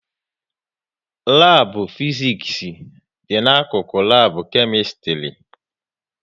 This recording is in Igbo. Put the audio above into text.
Labu Fiziks dị n'akụkụ lab Kemistri